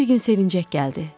Bir gün sevincək gəldi.